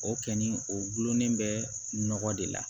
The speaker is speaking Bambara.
O kɛni o gulonnen bɛ nɔgɔ de la